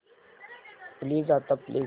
please आता play कर